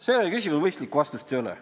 Sellele küsimusele mõistlikku vastust ei ole.